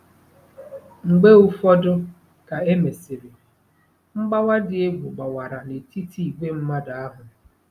Mgbe ụfọdụ ka e mesịrị, mgbawa dị egwu gbawara n'etiti ìgwè mmadụ ahụ.